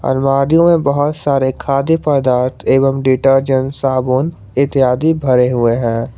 में बहुत सारे खाद्य पदार्थ एवं डिटर्जेंट साबुन इत्यादि भरे हुए हैं।